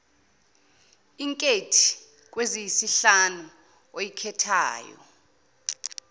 inkethi kweziyisihlanu oyikhethayo